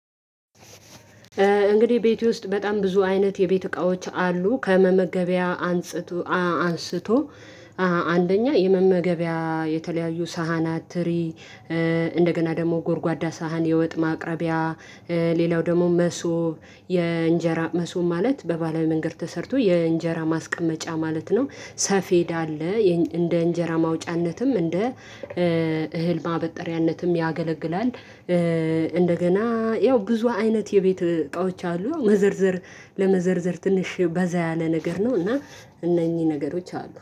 እንግዲህ ቤቴ ውስጥ በጣም ብዙ አይነት የቤት እቃዎች አሉ። ከመመገቢያ አንስቶ አንደኛ የመመገቢያ የተለያዩ ሳህናት ትሪ እንደገና ደግሞ ጎርጓዳ ሳህን የወጥ ማቅረቢያ። ሌላው ደግሞ መሶብ የእንጀራ መሶብ ማለት በባህላዊ መንገድ ተሰርቶ የእንጀራ ማስቀመጫ ማለት ነው። ሰፌድ አለ እንደ እንጀራ ማውጫነትም እንደ እህል ማበጠሪያነትም ያገለግላል። እንደገና ያው ብዙ አይነት የቤት እቃዎች አሉ። መዘርዘር ለመዘርዘር ትንሽ በዛ ያለ ነገር ነው። እና እነኚህ ነገሮች አሉ